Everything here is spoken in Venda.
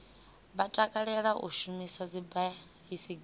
vha takalela u shumisa dzibaisigila